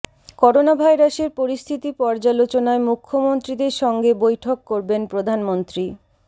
corona ভাইরাসের পরিস্থিতি পর্যালোচনায় মুখ্যমন্ত্রীদের সঙ্গে বৈঠক করবেন প্রধানমন্ত্রী